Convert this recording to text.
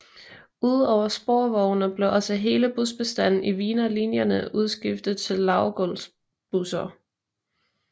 Ud over sporvognene blev også hele busbestanden i Wienerlinjerne udskiftet til lavgulvsbusser